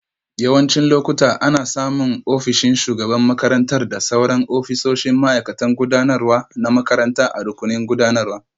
Yawancin lokuta, ana samun ofishin shugaban makarantar da sauran ofisoshin ma'aikatan gudanarwa na makaranta a rukunin gudanarwa.